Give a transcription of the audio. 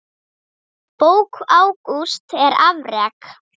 Bók Ágústs er afrek.